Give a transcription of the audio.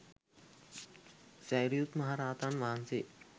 සැරියුත් මහරහතන් වහන්සේ